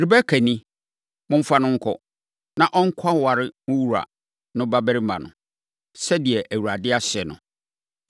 Rebeka ni. Momfa no nkɔ, na ɔnkɔware mo wura no babarima no, sɛdeɛ Awurade ahyɛ no.”